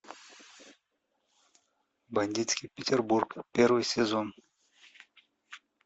бандитский петербург первый сезон